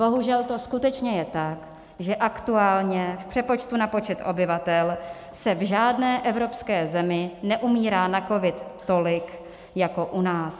Bohužel to skutečně je tak, že aktuálně v přepočtu na počet obyvatel se v žádné evropské zemi neumírá na covid tolik jako u nás.